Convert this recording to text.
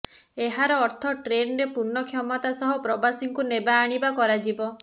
ଏହାର ଅର୍ଥ ଟ୍ରେନରେ ପୂର୍ଣ୍ଣ କ୍ଷମତା ସହ ପ୍ରବାସୀଙ୍କୁ ନେବା ଆଣିବା କରାଯିବ